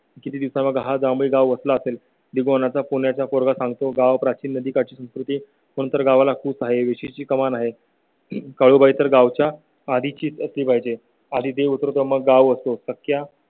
किती दिवसा हा जांभळी गाव वसला असेल पुण्याचा पोरगा सांगतो. गाव प्राचीन नदीकाठ ची संस्कृती कोणतर गावाला खूप आहे, विशेषची कमान आहे काळुबाईतर गावच्या. आधी चिती पाहिजे आणि देऊळगाव असतो तर त्या